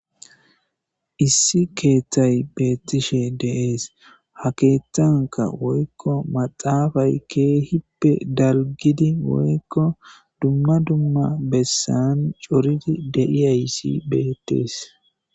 Issi keththay bettishe de'es ha keththanka woykko maxxaafay kehippe dalggidi woykko dumma dumma bessan cooridi deiyayssi bettes.